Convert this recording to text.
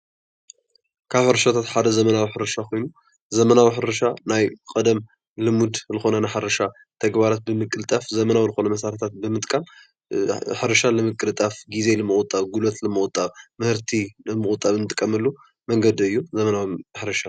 ካብ ሕርሻታት ሓደ ዘመናዊ ሕርሻ ኮይኑ ዘመናዊ ሕርሻ ናይ ቀደም ልሙድ ልኾነ ናይ ሕርሻ ተግባራት ብምቅጣፍ ዘመናዊ መሳርሕታት ብምጥቃም ሕርሻ ንምቅልጣፍ ፣ጊዜ ንምቑጣ፣ ጉልበት ንምቑጣብ፣ ምህርቲ ንምቑጣብ ንጥቀመሉ መንገዲ እዩ ።ዘመናዊ ሕርሻ?